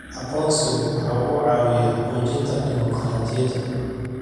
Aqoonsigu waxa uu caawiyaa xoojinta dimuqraadiyadda.